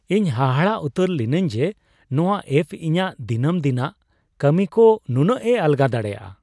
ᱤᱧ ᱦᱟᱦᱟᱲᱟᱜ ᱩᱛᱟᱹᱨ ᱞᱤᱱᱟᱹᱧ ᱡᱮ ᱱᱚᱶᱟ ᱮᱹᱯᱷ ᱤᱧᱟᱹᱜ ᱫᱤᱱᱟᱹᱢ ᱫᱤᱱᱟᱜ ᱠᱟᱹᱢᱤᱠᱚ ᱱᱩᱱᱟᱹᱜᱼᱮ ᱟᱞᱜᱟ ᱫᱟᱲᱮᱭᱟᱜᱼᱟ ᱾